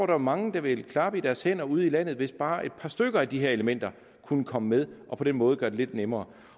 var mange der ville klappe i deres hænder ude i landet hvis bare et par af de her elementer kunne komme med og på den måde gøre det lidt nemmere